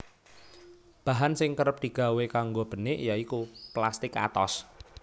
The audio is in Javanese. Bahan sing kerep digawé kanggo benik ya iku plastik atos